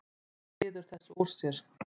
Hann ryður þessu upp úr sér.